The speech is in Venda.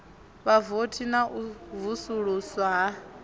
vhavothi na u vusuluswa ha